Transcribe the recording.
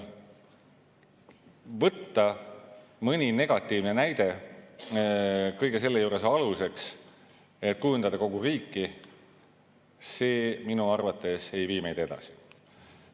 Võtta mõni negatiivne näide kõige selle juures aluseks, kui kujundatakse kogu riiki – minu arvates ei vii see meid edasi.